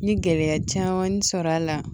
N ye gɛlɛya caman sɔrɔ a la